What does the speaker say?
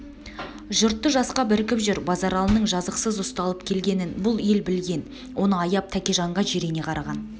жұртты жасқап іркіп жүр базаралының жазықсыз ұсталып келгенін бұл ел білген оны аяп тәкежанға жирене қараған